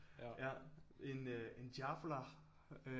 Ja en øh en Diavola